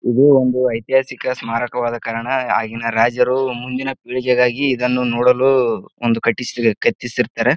ಇದು ಒಂದು ಐತಿಹಾಸಿಕ ಸ್ಮಾರಕವಾದ ಕಾರಣ ಆಗಿನ ರಾಜರು ಮುಂದಿನ ಪಿಳಿಗೆಗಾಗಿ ಇದನ್ನು ನೋಡಲು ಒಂದು ಕಟ್ಟಿಸಿ ಕಟ್ಟಿಸಿರುತ್ತಾರ.